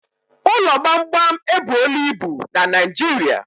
Ụlọ gbamgbam ebuola ibu na Naịjirịa